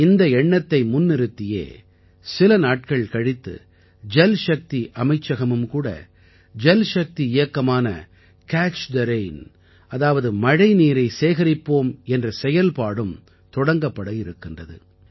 இந்த எண்ணத்தை முன்னிறுத்தியே சில நாட்கள் கழித்து ஜல்சக்தி அமைச்சகமும் கூட ஜல்சக்தி இயக்கமான கேட்ச் தே ரெயின் அதாவது மழைநீரை சேகரிப்போம் என்ற செயல்பாடும் தொடங்கப்பட இருக்கின்றது